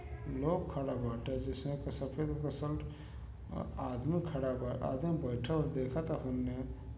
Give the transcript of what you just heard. लोग खड़ा बाटे जिसमें कि सफेद रंग क सल्ट अ आदमी खड़ा बा। आदमी बइठल देखता होने।